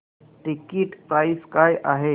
ticket price काय आहे